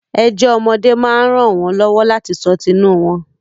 Ẹjọ́ ọmọdé máa ń ràn wọ́n lọ́wọ́ láti sọ tinú wọ́n.